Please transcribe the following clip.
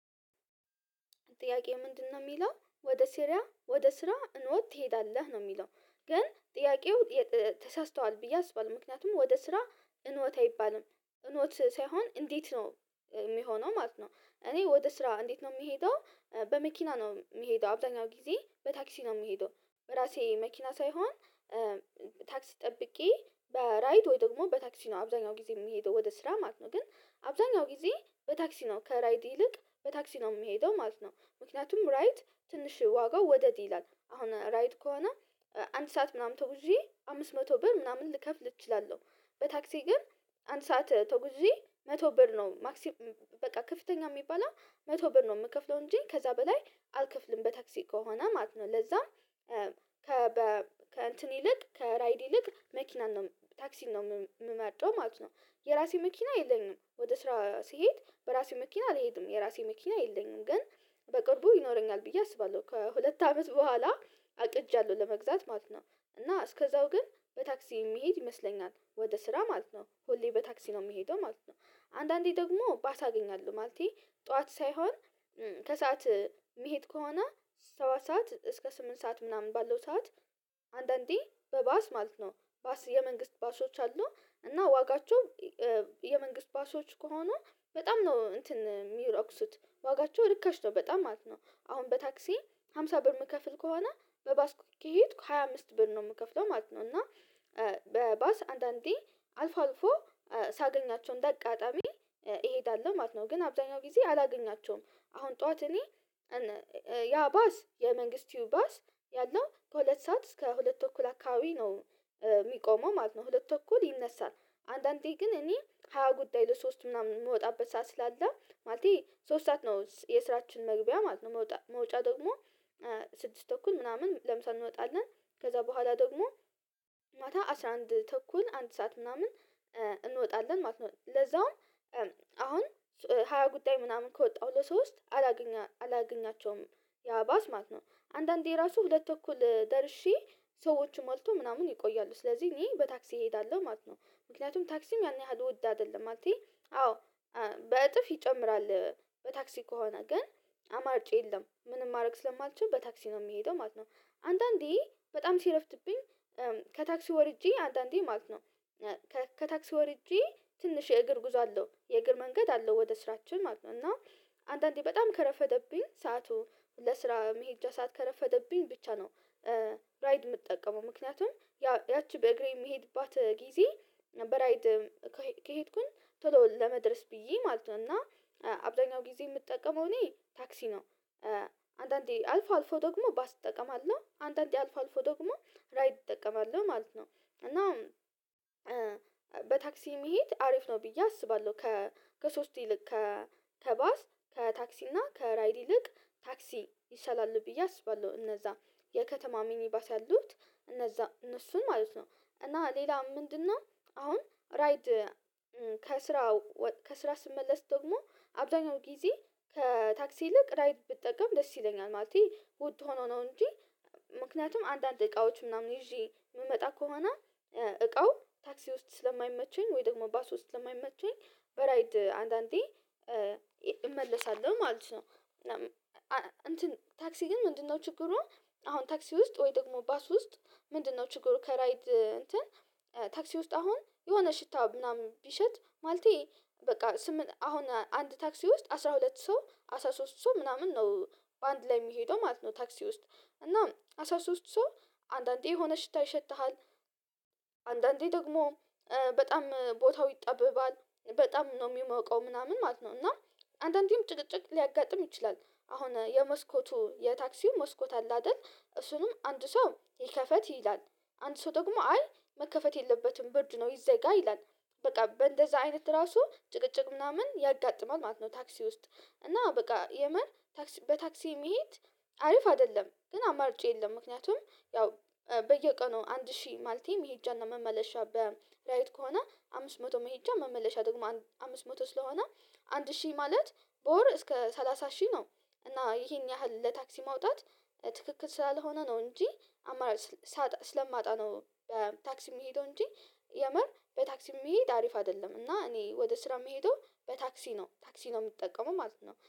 ጥያቄው ምንድነው የሚለው ወደ ሴሪያ ወደ ስራ እኖት ትሄዳለህ ነው የሚለው? ግን ጥያቄው ተሳስተዋል ብዬ አስባለሁ ምክንያቱም ወደ ስራ እንወት አይባልም እሞት ሳይሆን እንዴት ነው የሚሆነው ማለት ነው። እኔ ወደ ስራ እንዴት ነው የምሄደው በመኪና ነው የምሄደው አብዛኛው ጊዜ በታክሲ ነው የምሄደው። በራሴ መኪና ሳይሆን ታክስ ጠብቄ በራይት ወይ ደግሞ በታክሲ ነው አብዛኛው ጊዜ የምሄደው ወደ ስራ ማለት ነው። ግን አብዛኛው ጊዜ በታክሲ ነው ከራይድ ይልቅ በታክሲ ነው የምሄደው ማለት ነው። ምክንያቱም ራይድ ትንሽ ዋጋው ወደድ ይላል አሁን ራይድ ከሆነ አንድ ሰዓት ምናምን ተጉዜ አምስት መቶ ብር ምናምን ልከፍል እችላለሁ። በታክሲ ግን አንድ ሰዓት ተውዬ መቶ ብር ነው ማክሲም በቃ ከፍተኛ የሚባል መቶ ብር ነው የምከፍለው እንጂ ከዛ በላይ አልከፍልም በታክሲ ከሆነ ማለት ነው። ለዛም ከእንትን ይልቅ ከራይድ ይልቅ መኪናን ነው ታክሲን ነው የምመርጠው ማለት ነው። የራሴ መኪና የለኝም ወደ ስራ ስሄድ በራሴ መኪና አልሄድም የራሴ መኪና የለኝም ግን በቅርቡ ይኖረኛል ብዬ አስባለሁ ከሁለት አመት በኋላ አቅጃለሁ ለመግዛት ማለት ነው። እና እስከዛው ግን በታክሲ የሚሄድ ይመስለኛል ወደ ስራ ማለት ነው ሁሌ በታክሲ ነው የምሄደው ማለት ነው። አንዳንዴ ደግሞ ባሳ አገኛለው ማለቴ ጠዋት ሳይሆን ከሰአት መሄድ ከሆነ ሰባት ሰዓት እስከ ስምንት ሰዓት ምናምን ባለው ሰዓት አንዳንዴ በባስ ማለት ነው የመንግስት ባሶች አሉ እና ዋጋቸው የመንግስት ባሶች ከሆኑ በጣም ነው እንትን የሚረክሱት ዋጋቸው ርካሽ ነው በጣም ማለት ነው። አሁን በታክሲ ሃምሳ ብር የምከፍል ከሆነ በባስኩክ ከሄድኩ ሃያ አምስት ብር ነው የምከፍለው ማለት ነው። እና በባስ አንዳንዴ አልፎ አልፎ ሳገኛቸው እንደ አቃጣሚ እሄዳለሁ ማለት ነው። ግን አብዛኛው ጊዜ አላገኛቸውም አሁን ጠዋት እኔ ያ ባስ የመንግስቲው ባስ ያለው ከሁለት ሰዓት እስከ ሁለት እኩል አካባቢ ነው የሚቆመው ማለት ነው። ሁለት እኩል ይነሳል አንዳንዴ ግን እኔ ሃያ ጉዳይ ለሶስት ምናምን የምወጣበት ሰዓት ስላለ ማለቴ ሶስት ሰዓት ነው የስራችን መግቢያ ማለት ነው መውጫ ደግሞ ስድስት ተኩል ምናምን ለምሳሌ እንወጣለን ከዛ በኋላ ደግሞ ማታ አስራ አንድ ተኩል አንድ ሰዓት ምናምን እንወጣለን ማለት ነው። ለዛውም አሁን ሃያ ጉዳይ ምናምን ከወጣሁ ለሶስት አላገኛቸውም ያ ባስ ማለት ነው አንዳንዴ ራሱ ሁለት ተኩል ደርሼ ሰዎችን ሞልቶ ምናምን ይቆያሉ ስለዚህ እኔ በታክሲ እሄዳለሁ ማለት ነው። ምክንያቱም ታክሲም ያን ያህል ወዳ አይደለም ማለቴ አዎ በእጥፍ ይጨምራል በታክሲ ከሆነ ግን አማርጬ የለም ምንም ማድረግ ስለማልችል በታክሲ ነው የሚሄደው ማለት ነው። አንዳንዴ በጣም ሲረፍትብኝ ከታክሲ ወርጄ አንዳንዴ ማለት ነው ከታክሲ ወርጄ ትንሽ የእግር ጉዞ አለው የእግር መንገድ አለው ወደ ስራችን ማለት ነው። እና አንዳንዴ በጣም ከረፈደብኝ ሰዓቱ ለስራ መሄድ ሰዓት ከረፈደብኝ ብቻ ነው ራይድ የምጠቀመው ምክንያቱም ያቺ በእግሬ የምሄድባት ጊዜ በራይድ ከሄድኩኝ ቶሎ ለመድረስ ብዬ ማለት ነው እና አብዛኛው ጊዜ የምጠቀመው እኔ ታክሲ ነው። አንዳንዴ አልፎ አልፎ ደግሞ ባስ እጠቀማለሁ አንዳንዴ አልፎ አልፎ ደግሞ ራይድ እጠቀማለሁ ማለት ነው። እና በታክሲ መሄድ አሪፍ ነው ብዬ አስባለሁ ከ ከሶስት ይልቅ ከባስ ከታክሲ እና ከራይድ ይልቅ ታክሲ ይሻላል ብዬ አስባለሁ። እነዛ የከተማ ሚኒባስ ያሉት እነዛ እነሱን ማለት ነው እና ሌላ ምንድነው? አሁን ራይድ ከስራ ከስራ ስመለስ ደግሞ አብዛኛው ጊዜ ከታክሲ ይልቅ ራይድ ብትጠቀም ደስ ይለኛል ማለቴ ውድ ሆኖ ነው እንጂ ምክንያቱም አንዳንድ እቃዎች ምናምን ይዤ የምመጣ ከሆነ እቃው ታክሲ ውስጥ ስለማይመቸኝ ወይ ደግሞ ባስ ውስጥ ስለማይመቸኝ በራይድ አንዳንዴ እመለሳለሁ ማለት ነው። እና እንትን ታክሲ ግን ምንድነው ችግሩን? አሁን ታክሲ ውስጥ ወይ ደግሞ ባስ ውስጥ ምንድነው ችግሩ? ከራይድ እንትን ታክሲ ውስጥ አሁን የሆነ ሽታ ምናምን ቢሸት ማለቴ በቃ አሁን አንድ ታክሲ ውስጥ አስራ ሁለት ሰው አስራ ሶስት ሰው ምናምን ነው በአንድ ላይ የሚሄደው ማለት ነው ታክሲ ውስጥ እና አሳ ሶስት ሰው አንዳንዴ የሆነ ሽታ ይሸተሃል አንዳንዴ ደግሞ በጣም ቦታው ይጠበባል በጣም ነው የሚሞቀው ምናምን ማለት ነው። እና አንዳንዴም ጭቅጭቅ ሊያጋጥም ይችላል አሁን የመስኮቱ የታክሲው መስኮት አለ አይደል እሱንም አንድ ሰው ይከፈት ይላል አንድ ሰው ደግሞ አይ መከፈት የለበትም ብርድ ነው ይዘጋ ይላል በቃ በእንደዛ አይነት ራሱ ጭቅጭቅ ምናምን ያጋጥማል ማለት ነው። ታክሲ ውስጥ እና በቃ የመን ታክሲ በታክሲ መሄድ አሪፍ አይደለም ግን አማርጬ የለም ምክንያቱም ያው በየቀኑ አንድ ሺህ ማለቴም መሄጃ መመለሻ በላይት ከሆነ አምስት መቶ መሄጃ መመለሻ ደግሞ አምስት መቶ ስለሆነ አንድ ሺህ ማለት በወር እስከ ሰላሳ ሺህ ነው እና ይሄን ያህል ለታክሲ ማውጣት ትክክል ስላልሆነ ነው እንጂ አማራጭ ስለማጣ ነው። ታክሲ የሚሄደው እንጂ የመር በታክሲ የሚሄድ አሪፍ አይደለም እና እኔ ወደ ስራ መሄዱ በታክሲ ነው ታክሲ ነው የምጠቀመው ማለት ነው